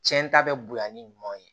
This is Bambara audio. Cɛn ta bɛ bonya ni ɲumanw ye